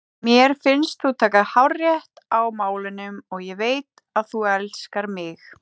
Mér finnst þú taka hárrétt á málunum og ég veit að þú elskar mig.